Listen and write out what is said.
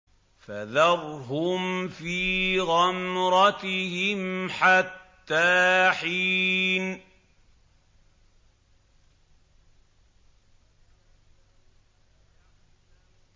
فَذَرْهُمْ فِي غَمْرَتِهِمْ حَتَّىٰ حِينٍ